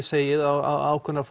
segið ákveðnar